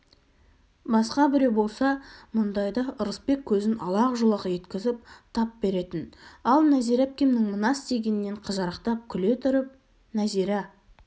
басқа біреу болса мұндайда ырысбек көзін алақ-жұлақ еткізіп тап беретін ал нәзира әпкемнің мына істегенінен қызарақтап күле тұрып нәзира